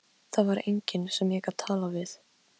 Mörg dáin börn héldu hins vegar vöku fyrir mér.